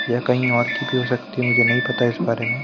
यह कहीं और की भी हो सकती मुझे नहीं पता इस बारे में--